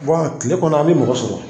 kile kɔnɔ a bɛ mɔgɔ sɔrɔ.